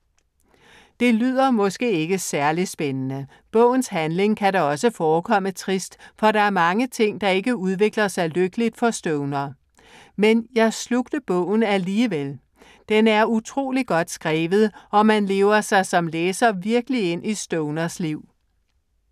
Det lyder måske ikke særlig spændende. Bogens handling kan da også forekomme trist, for der er mange ting, der ikke udvikler sig lykkeligt for Stoner. Men jeg slugte bogen alligevel. Den er utrolig godt skrevet og man lever sig som læser virkelig ind i Stoners liv.